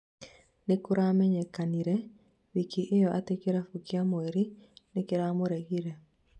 nĩkuramenyekire wiki ĩyo atĩ kĩrabũ kia mweri nĩkiramuregire